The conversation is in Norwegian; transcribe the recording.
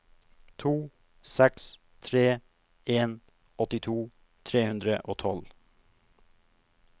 to seks tre en åttito tre hundre og tolv